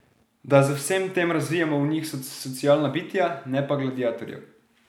Da z vsem tem razvijamo v njih socialna bitja, ne pa gladiatorjev.